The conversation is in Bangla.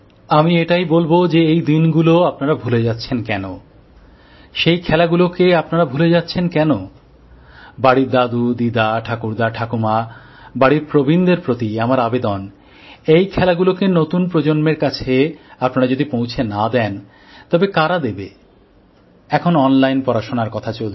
আমি এটাই বলব যে সেই দিনগুলো আপনারা ভুলে যাচ্ছেন কেন সেই খেলাগুলিকে আপনারা ভুলে যাচ্ছেন কেন বাড়ির দাদু দিদা ঠাকুরদা ঠাকুমা বাড়ির প্রবীণদের প্রতি আমার আবেদন এই খেলাগুলিকে নতুন প্রজন্মের কাছে আপনারা যদি পৌঁছে না দেন তবে কারা দেবে এখন অনলাইন পড়াশোনার কথা চলছে